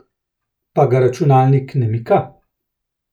Pa ga računalnik ne mika?